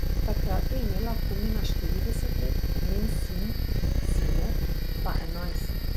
Takrat je imela Kumina štirideset let, njen sin, Cimet, pa enajst.